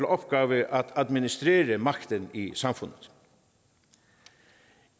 opgave at administrere magten i samfundet